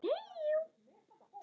Passa þeir?